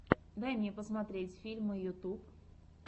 дай мне посмотреть фильмы ютюб